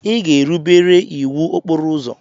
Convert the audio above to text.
Ị ga-erubere iwu okporo ụzọ.